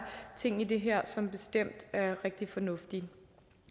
ting i det her som bestemt er rigtig fornuftige